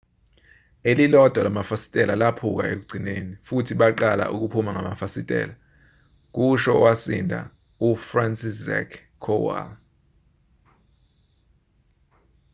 elilodwa lamafasitela laphuka ekugcineni futhi baqala ukuphuma ngamafasitela kusho owasinda ufranciszek kowal